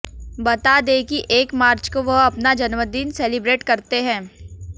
बता दें कि एक मार्च को वह अपना जन्मदिन सेलिब्रेट करते हैं